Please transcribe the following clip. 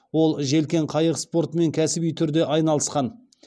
ол желкен қайық спортымен кәсіби түрде айналысқан